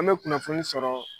An bɛ kunnafoni sɔrɔ